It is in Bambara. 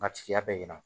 A tigiya bɛ ɲina